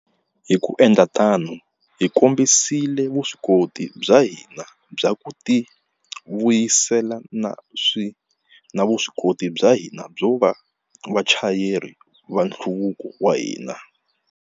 Hi ku endla tano, hi kombisile vuswikoti bya hina bya ku tivuyisela na vuswikoti bya hina byo va vachayeri va nhluvuko wa hina.